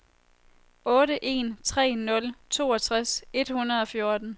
otte en tre nul toogtres et hundrede og fjorten